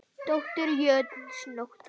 Dóttir jötuns Nótt var.